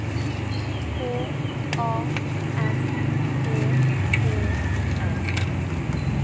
K A M P E N